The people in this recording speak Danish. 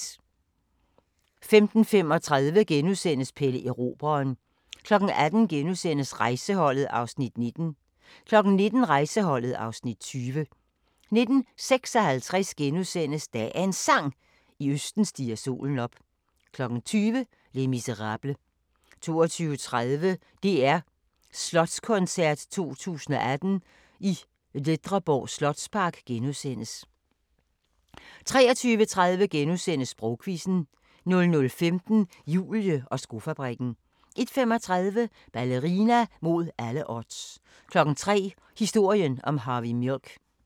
15:35: Pelle Erobreren * 18:00: Rejseholdet (Afs. 19)* 19:00: Rejseholdet (Afs. 20) 19:56: Dagens Sang: I østen stiger solen op * 20:00: Les Misérables 22:30: DR Slotskoncert 2018 i Ledreborg Slotspark * 23:30: Sprogquizzen * 00:15: Julie og skofabrikken 01:35: Ballerina mod alle odds 03:00: Historien om Harvey Milk